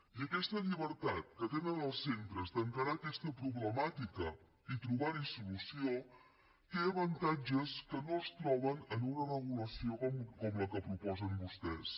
i aquesta llibertat que tenen els centres d’encarar aquesta problemàtica i trobar hi solució té avantatges que no es troben en una regulació com la que proposen vostès